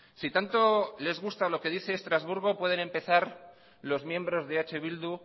si tanto les gusta lo que dice estrasburgo pueden empezar los miembros de eh bildu